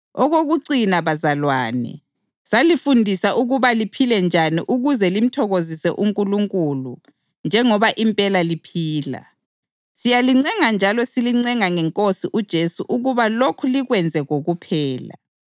Okokucina bazalwane, salifundisa ukuba liphile njani ukuze limthokozise uNkulunkulu njengoba impela liphila. Siyalicela njalo silincenga ngeNkosi uJesu ukuba lokhu likwenze kokuphela.